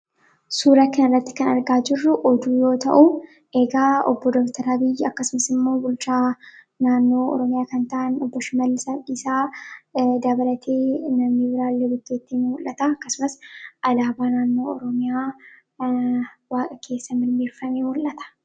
Suuraa kanarratti kan argaa jirru oduu yoo ta'u egaa obbo Dr. Abiyyi akkasumasimmoo bulchaa naannoo kan ta'an obbo Shimallis Abdiisaa dabalatee namni biraallee bukkeetti ni mul'ata akkasumas alaabaa naannoo oromiyaa waaqa keessa mirmirfame mul'ata.